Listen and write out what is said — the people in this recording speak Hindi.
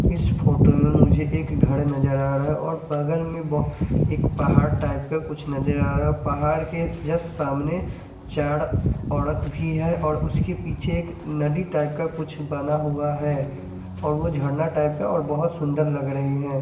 इस फोटो में मुझे एक घड नज़र आ रहा है और बगल में ब एक पहाड़ टाइप का कुछ नज़र आ रहा है पहाड़ के जस्ट सामने चार ओरत भी है और उसके पीछे एक नदी टाइप का कुछ बना हुआ है और वो जरना टाइप का और बहोत सुन्दर लाग रही है।